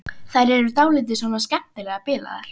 Þær eru dálítið svona skemmtilega bilaðar.